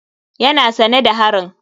Yana sane da harin.